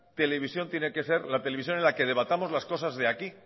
televisión tiene que ser la televisión en la que debatamos cosas de aquí